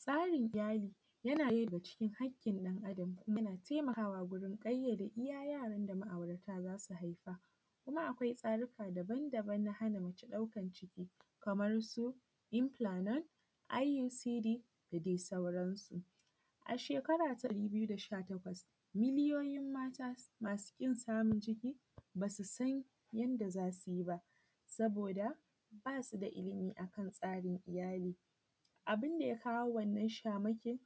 Tsarin iyyali yana ɗaya daga cikin hakkin ɗan adam yana taimakawa wajen ƙayyade iyya yaran da ma’aurata zasu haifa kuma akwai tsarika daban daban na hana mace ɗaukan ciki kaman su, infulanod, I u c d da dai sauran su. A shekara ta dubu biyu da goma sha takwas, miliyoyin mata masu ƙin samun ciki basusan yanda zasuyi ba, saboda basu da illimi akan tsarin iyyali abunda ya kawo abinda ya kawo wannan shamakin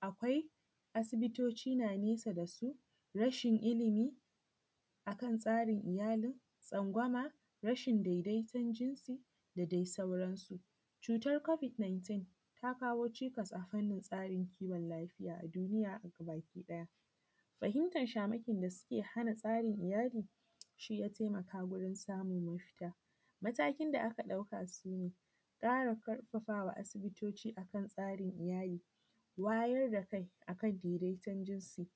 akwai asibitoci na nesa dasu, rashin illimi akan tsarin iyalin, tsangwama, rashin daidaiton jinsi da dai sauran su. cutar kobik nintin ta kawo cikas akanyin tsarin kiwon lafiya a duniya gabaki ɗaya, fahimtan shamakin dake hana tsarin iyyali shiya taimaka wurin samun mafita. Matakin da aka dauka sune, ƙara ƙarfafawa asibitoci akan tsarin iyyali, wayar da kai akan daidaiton jinsisu. cutar kobik nintin ta kawo cikas akanyin tsarin kiwon lafiya a duniya gabaki ɗaya, fahimtan shamakin dake hana tsarin iyyali shiya taimaka wurin samun mafita. Matakin da aka dauka sune, ƙara ƙarfafawa asibitoci akan tsarin iyyali, wayar da kai akan daidaiton jinsi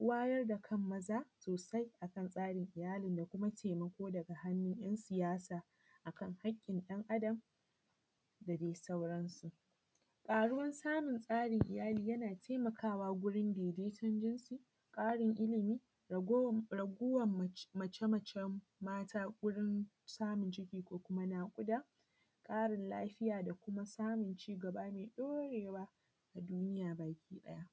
wayar da kan maza sosai akan tsarin iyyali da kuma taimako daga hannun yan siyasa akan hakkin ɗan adam da dai sauran su. ƙaruwan samun tsarin iyyali yana taimakawa warun daidaiton jinsi, ƙarin illimi, rogowar mace mace mata gurin samun ciki da kuma naƙuda ƙarin lafiya da kuma samun lafiya da kuma samun cigaba mai ɗorewa a duniya baki ɗaya.